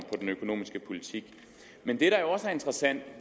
den økonomiske politik men det der også er interessant